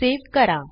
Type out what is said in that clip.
save करा